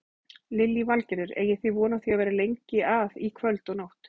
Lillý Valgerður: Eigið þið von á því að vera lengi að í kvöld og nótt?